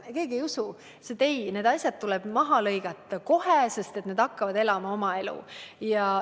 Ta ütles, et ei, need asjad tuleb lõigata läbi kohe, sest need hakkavad elama oma elu.